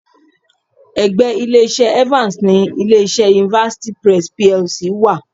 Ẹ̀gbẹ́ Ilé-iṣẹ́ Evans ni ilé-iṣẹ́ University Press PLC wa..